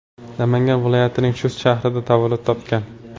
Namangan viloyatining Chust shahrida tavallud topgan.